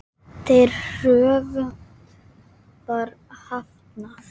Þeirri kröfu var hafnað.